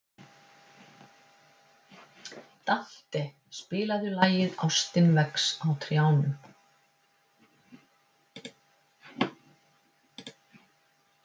Dante, spilaðu lagið „Ástin vex á trjánum“.